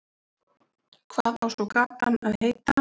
Hvað á svo gatan að heita?